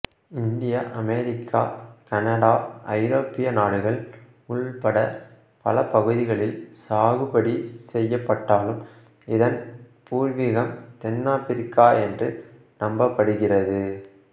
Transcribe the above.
இந்தியாஅமெரிக்காகனடாஐரோப்பிய நாடுகள் உள்பட்ட பல பகுதிகளில் சாகுபடி செய்யபட்டாலும் இதன் பூர்விகம் தென்னாப்ரிக்கா என்று நம்பப்படுகிறது